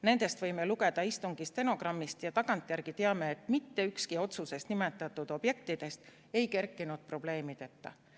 Nendest võime lugeda istungi stenogrammist ja tagantjärele teame, et mitte ükski otsuses nimetatud objektidest ei kerkinud probleemideta.